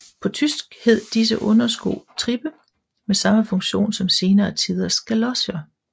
På tysk hed disse undersko Trippe med samme funktion som senere tiders galocher